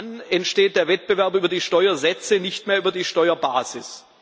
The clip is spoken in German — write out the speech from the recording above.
Dann entsteht der Wettbewerb über die Steuersätze und nicht mehr über die Steuerbasis.